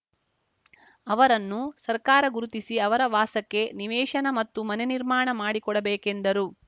ಅವರನ್ನು ಸರ್ಕಾರ ಗುರುತಿಸಿ ಅವರ ವಾಸಕ್ಕೆ ನಿವೇಶನ ಮತ್ತು ಮನೆ ನಿರ್ಮಾಣ ಮಾಡಿಕೊಡ ಬೇಕೆಂದರು